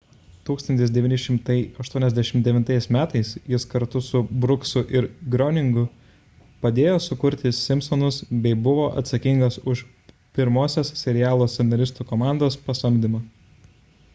1989 m jis kartu su brooksu ir groeningu padėjo sukurti simpsonus bei buvo atsakingas už pirmosios serialo scenaristų komandos pasamdymą